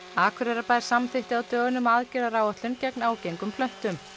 Akureyrarbær samþykkti á dögunum aðgerðaráætlun gegn ágengum plöntum